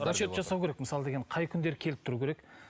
расчет жасау керек мысалы деген қай күндері келіп тұруы керек